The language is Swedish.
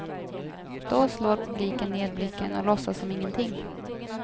Då slår publiken ned blicken och låtsas som ingenting.